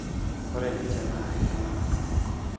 Ore ninje naa iltung'ana torok.